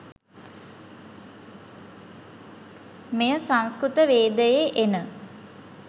මෙය, සංස්කෘතවේදයේ එන